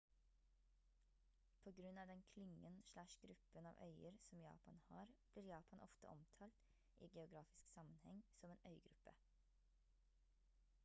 på grunn av den klyngen/gruppen av øyer som japan har blir japan ofte omtalt i geografisk sammenheng som en «øygruppe»